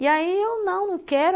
E aí eu não, não quero.